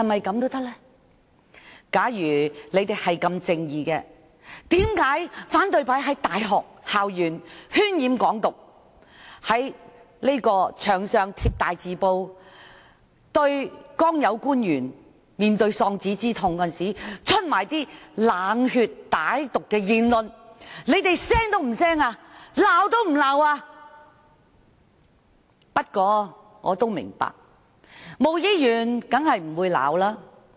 假如你們如此正義，為何對於有人在大學校園渲染"港獨"，在牆上張貼大字報，對剛遇上喪子之痛的官員，說出冷血歹毒的言論，卻甚麼也不說，完全沒有批評？